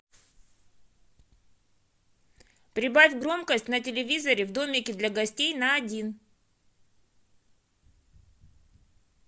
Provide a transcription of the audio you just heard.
прибавь громкость на телевизоре в домике для гостей на один